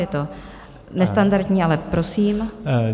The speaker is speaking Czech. Je to nestandardní, ale prosím.